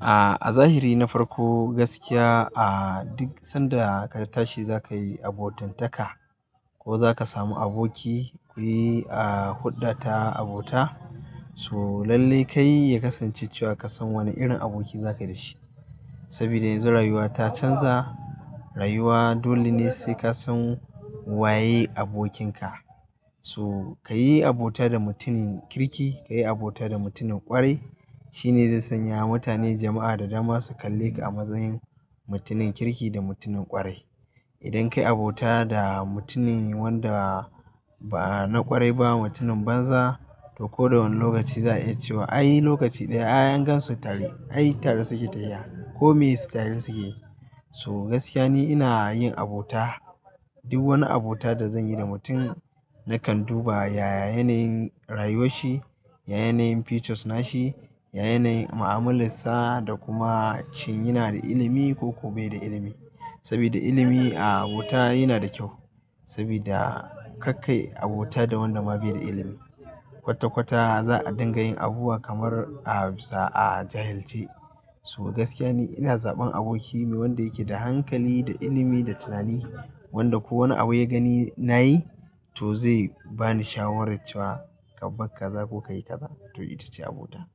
A zahiri na farko gaskiya a duk sanda ka tashi za ka yi abokantaka ko za ka samu aboki kuyi a huɗɗa ta abota. So lallai kai ya kasance cewa ka san wane irin aboki za ka yi dashi. Saboda yanzu rayuwa ta canza rayuwa dole ne sai ka san waye abokinka. So ka yi abota da mutumin kirki, ka yi abota da mutumin ƙwarai shine zai sanya mutane jama'a da dama su kalle ka a matsayin mutumin kirki da mutumin ƙwarai. Idan ka yi abota da mutumin wanda ba na ƙwarai ba mutumin banza to ko da wani lokaci za a iya cewa ai lokaci ɗaya ai an gansu tare ai tare suke ta tafiya ko mai tare suke. So gaskiya ne ina yin abota duk wani abota da zan yi da mutum nakan duba yaya yanayin rayuwar shi, ya yanayin features nashi, ya yanayin mu'amalarsa da kuma shin yana da ilimi ko kuwa bai da ilimi. Saboda ilimi a abota yana da kyau saboda kar kai abota da wanda ma bai da ilimi kwata kwata za a dinga yin abubuwa kamar a bisa a jahilce. So gaskiya ne ina zaɓan aboki ne wanda yake da hankali, da ilimi, da tunani wanda ko wane abu ya gani nayi to zai bani shawara cewa ka bar kaza ko ka yi kaza to ita ce abota.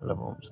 Allah bamu sa'a.